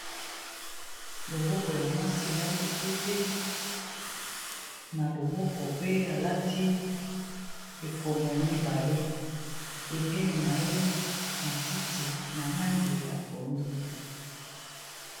Loboko ya mwasi alati pete na loboko, pe alati ekomo mibale pembeni na ye matiti na langi ya pondu.